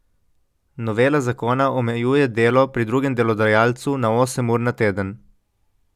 Novela zakona omejuje delo pri drugem delodajalcu na osem ur na teden.